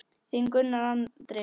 Þinn Gunnar Andri.